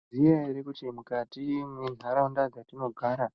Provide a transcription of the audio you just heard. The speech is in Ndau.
Maizviziva here kuti mukati mendaraunda dzatinogara